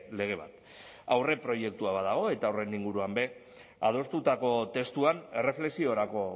lege bat aurreproiektua badago eta horren inguruan ere adostutako testuan erreflexiorako